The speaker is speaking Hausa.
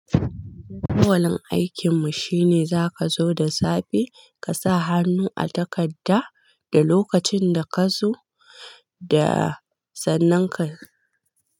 Kwalin aikin mu shine zaka zo da safe ka sa hannu a takarda da lokacin da ka zo da sannan ka.